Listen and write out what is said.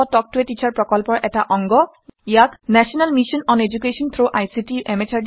ইয়াক national mission on education through ICT MHRD government of India ই পৃষ্ঠপোষকতা আগবঢ়াইছে